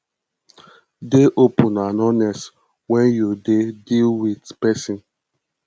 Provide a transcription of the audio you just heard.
dey open and honest when you dey deal with person